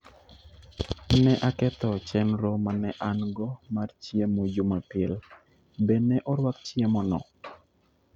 Ne aketho chenro ma ne an - go mar chiemo Jumapil. Be ne orwak chiemono?